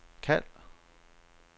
kald